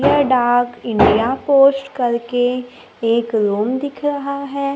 ये डाक India post करके एक रुम दिख रहा है।